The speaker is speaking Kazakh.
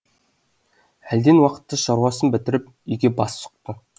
әлден уақытта шаруасын бітіріп үйге бас сұқты